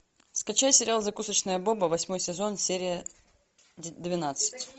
скачай сериал закусочная боба восьмой сезон серия двенадцать